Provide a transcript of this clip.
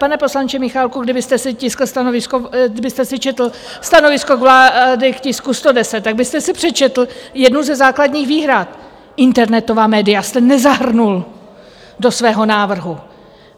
Pane poslanče Michálku, kdybyste si četl stanovisko vlády k tisku 110, tak byste si přečetl jednu ze základních výhrad - internetová média jste nezahrnul do svého návrhu.